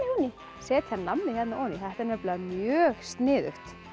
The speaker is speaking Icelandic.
setja nammi oní þetta er nefnilega mjög sniðugt